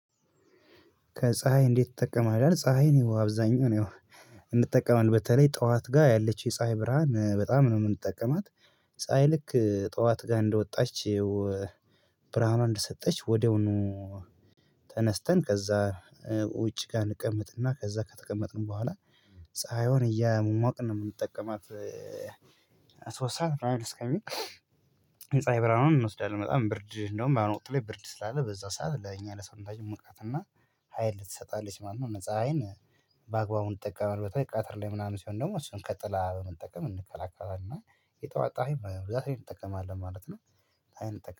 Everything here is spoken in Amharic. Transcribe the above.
ከፀሀይ እንዴት ትጠቀማለህ? ፀሀይ እኔ አብዛኛው ያው እንጠቀማለን በተለይ ጠዋት ጋር ያለች የፀሀይ ብርሃን በጣም ነው የምንጠቀማት። ፀሀይ ልክ ጠዋት ጋር እንደወጣች ብርሃኗ እንደሰጠች ወዲያውኑ ተነስተን ከዛ ውጪ ጋር እንቀምጥና ከዛ ከተቀመጥን በኋላ ፀሀይውን እያሟቅን ነው የምንጠቀማት። ሶስት ሰዓት ብራይል እስከሚል የፅሃይ የብርሃኗን እንወስዳለን በጣም ብርድ እንደውም በአሁኑ ወቅት ላይ ብርድ ስላለ በዛ ሰዓት ለኛ ለሰውነታችን ሙቀትና ሀይል ትሰጣለች ማለት ነው። ፅሃይን በአግባቡ እንጠቀመዋለን በተለይ በቃተር ላይ ምናምን ሲሆን ደግሞ እሱን ከጥላ በመጠቀም እንከላከላለን እና የጠዋት ፅሃይ በብዛት እንጠቀማለን ማለት ነው።